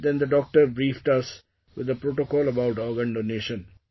Then the doctor briefed us with the protocol about organ donation